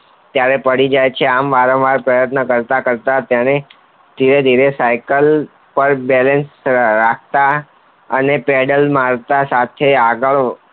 ત્યારે પડી જાય છે આમ વારંવાર પ્રયત્ન કરતા કરતા જે સાયકલ પર balance રાખતા અને પેડલ માર્ટા સાથે આગળ